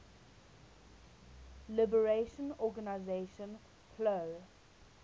liberation organization plo